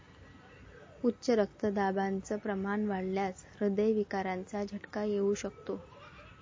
उच्च रक्तदाबाचं प्रमाण वाढल्यास ऱ्हदय विकाराचा झटका येऊ शकतो.